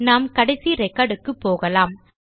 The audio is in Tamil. நாம் கடைசி ரெகார்டுக்கு போகலாம்